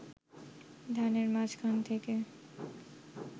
ধানের মাঝখান থেকে